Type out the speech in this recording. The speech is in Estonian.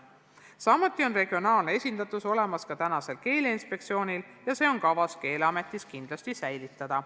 Samuti on regionaalne esindatus olemas Keeleinspektsioonil ja on kavas see Keeleametis kindlasti säilitada.